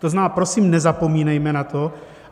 To znamená, prosím, nezapomínejme na to.